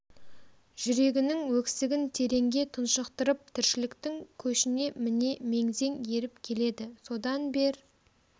жүрегінің өксігін тереңге тұншықтырып тіршіліктің көшіне міне меңзең еріп келеді содан бер